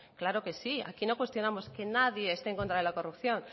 claro que sí aquí no cuestionamos que nadie esté en contra de la corrupción